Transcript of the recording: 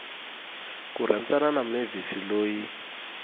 ku rhandzana na mavis loyi